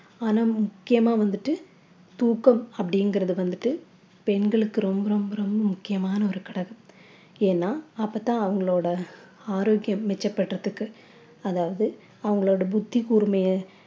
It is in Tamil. ஆனா முக்கியமா வந்துட்டு தூக்கம் அப்படிங்கறது வந்துட்டு பெண்களுக்கு ரொம்ப ரொம்ப ரொம்ப முக்கியமான ஒரு கடமை ஏன்னா அப்பத்தான் அவங்களோட ஆரோக்கியம் மிச்சப் படுறதுக்கு அதாவது அவங்களோட புத்தி கூர்மைய